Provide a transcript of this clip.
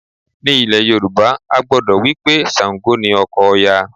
Ní ilẹ̀ Yorùbá, a gbàgbọ́ wí pé Ṣàǹgò ni ọkọ Òya